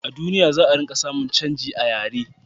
a duniya, za a ringa samun canji a yare